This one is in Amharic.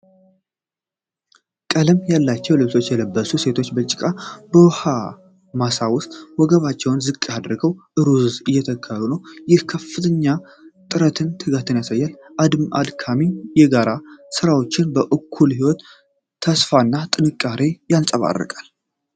ቀለም ያላቸዉ ልብሶች የለበሱ ሴቶች ጭቃማ በሆነ የውኃ ማሳ ውስጥ ወገባቸውን ዝቅ አድርገው ሩዝ እየተከሉ ነዉ፤ ይህም ከፍተኛ ጥረትንና ትጋትን ያሳያል። በአድካሚ የጋራ ሥራቸው በኩል የሕይወት ተስፋና ጥንካሬ ይንጸባረቃል።